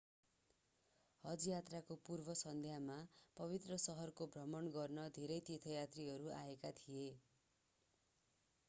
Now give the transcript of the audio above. हज यात्राको पूर्व सन्ध्यामा पवित्र शहरको भ्रमण गर्न धेरै तीर्थयात्रीहरू आएका थिए